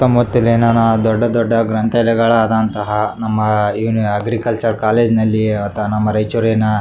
ತಮ್ಮ ಎನನ ದೊಡ್ಡ ದೊಡ್ಡ ಗ್ರಂಥಾಲಯಗಳು ಆದಂಥ ನಮ್ಮ ಅಗ್ರಿಕಲ್ಚರ್ ಕಾಲೇಜು ಅಲ್ಲಿ ನಮ್ಮ ರಾಯಚೂರಿನ--